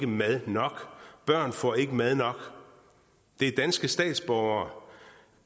mad nok børn får ikke mad nok det er danske statsborgere